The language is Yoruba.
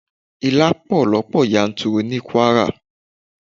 Ilá pọ̀ lọ́pọ̀ yanturu ní Kwara